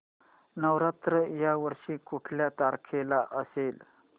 नवरात्र या वर्षी कुठल्या तारखेला असेल